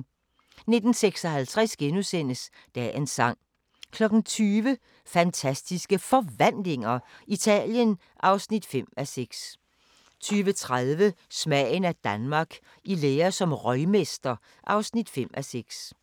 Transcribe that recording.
19:56: Dagens sang * 20:00: Fantastiske Forvandlinger – Italien (5:6) 20:30: Smagen af Danmark – I lære som røgmester (5:6)